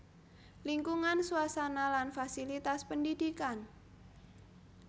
Lingkungan suasana lan fasilitas pendidikan